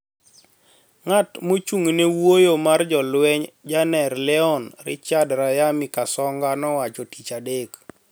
Ng`at mochung` ne wuoyo mar jolweny jener Leon Richard RiyamiKasonga nowacho tich adek